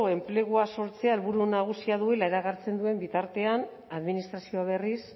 enplegua sortzea helburu nagusia duela iragartzen duen bitartean administrazioa berriz